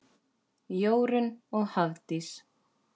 Jórunn og Hafdís.